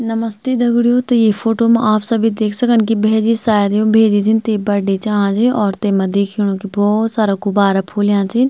नमस्ते दगडियों त ये फोटो मा आप सभी देख सकन की भैजी सायद यु भैजी जिन थे बड्डे चा आज और तेमा दिखेणु की भौत सारा गुब्बारा फूल्याँ छिन।